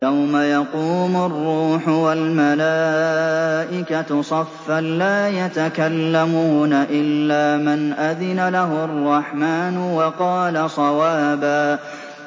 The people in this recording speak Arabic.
يَوْمَ يَقُومُ الرُّوحُ وَالْمَلَائِكَةُ صَفًّا ۖ لَّا يَتَكَلَّمُونَ إِلَّا مَنْ أَذِنَ لَهُ الرَّحْمَٰنُ وَقَالَ صَوَابًا